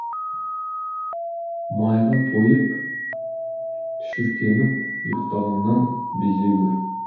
майға тойып түшіркеніп ұйықтағаннан безе гөр